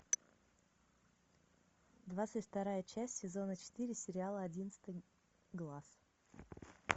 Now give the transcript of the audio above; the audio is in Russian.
двадцать вторая часть сезона четыре сериала одиннадцатый глаз